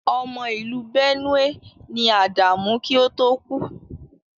Ọmọ ìlú Benue ni Ádámù kí ó tó kú.